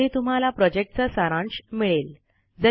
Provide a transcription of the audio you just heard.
ज्यामध्ये तुम्हाला प्रॉजेक्टचा सारांश मिळेल